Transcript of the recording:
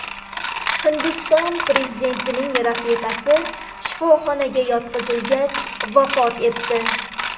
Hindiston prezidentining rafiqasi shifoxonaga yotqizilgach, vafot etdi.